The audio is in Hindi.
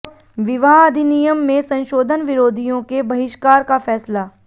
विवाह अधिनियम में संशोधन विरोधियों के बहिष्कार का फैसला